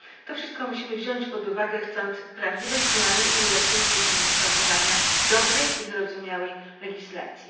To wszystko musimy wziąć pod uwagę, chcąc prawdziwej zmiany i ulepszeń w dziedzinie kształtowania dobrej i zrozumiałej legislacji.